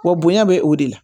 Wa bonya bɛ o de la